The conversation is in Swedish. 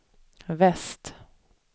väst